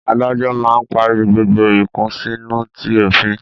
Adájọ́ máa ń parí gbogbo ìkùnsínú ti òfin